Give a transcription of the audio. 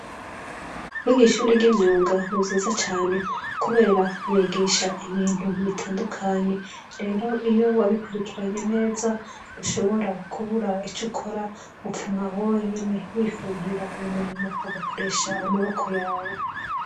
Kwiga ishuri ryimyunga ntivyiza cane kubera bigisha ibintu bitandukanye rero iyo wabikurikiranye neza ntushobora kubura ico ukora mupfuma we wenyene wifondera umurimo ugakoresha amaboko yawe.